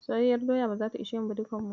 Soyayyar doyar ba zata ishe mu ba dukan mu.